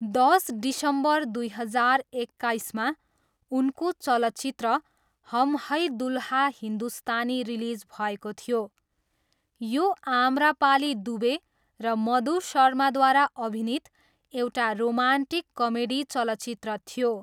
दस डिसम्बर दुई हजार एक्काइसमा, उनको चलचित्र हम है दुल्हा हिन्दुस्तानी रिलिज भएको थियो, यो आम्रपाली दुबे र मधु शर्माद्वारा अभिनीत एउटा रोमान्टिक कमेडी चलचित्र थियो।